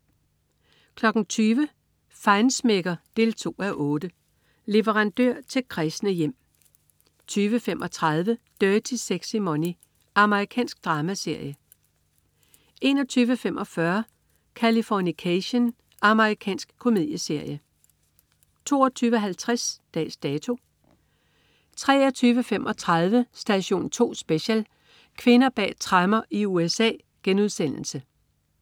20.00 Feinschmecker 2:8. Leverandør til kræsne hjem 20.35 Dirty Sexy Money. Amerikansk dramaserie 21.25 Californication. Amerikansk komedieserie 22.50 Dags Dato 23.35 Station 2 Special: Kvinder bag tremmer i USA*